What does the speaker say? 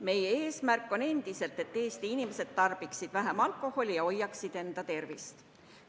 Meie eesmärk on endiselt, et Eesti inimesed tarbiksid vähem alkoholi ja hoiaksid enda tervist.